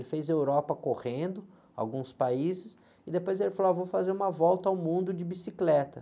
Ele fez a Europa correndo, alguns países, e depois ele falou, ah, vou fazer uma volta ao mundo de bicicleta.